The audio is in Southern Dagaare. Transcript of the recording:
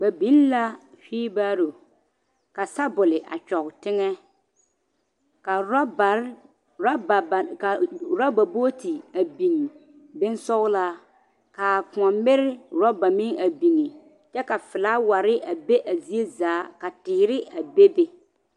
Ba biŋ la wheelbarrow ka sɔbole a kyɔɔ teŋɛ ka ɔraba booti a biŋ bonsɔglaa ka koɔ miri ɔraba meŋ a biŋ kyɛ ka flower a be zie zaa ka teere a bebe